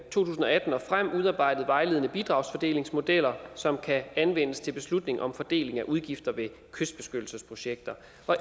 tusind og atten og frem udarbejdet vejledende bidragsfordelingsmodeller som kan anvendes til beslutning om fordeling af udgifter ved kystbeskyttelsesprojekter